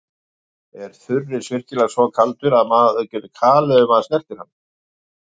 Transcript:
Er þurrís virkilega svo kaldur að mann getur kalið ef maður snertir hann?